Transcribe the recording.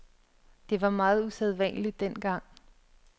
Det var meget usædvanligt dengang.